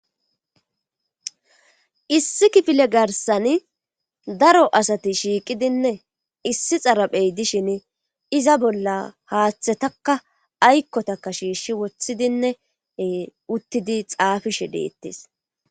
Issi kifile garsani daro asati shiiqidinne issi xaraphey dishin iza bolla haaththetakka aykkotaka shiishshi woththidinne uttidi xaafishe deettes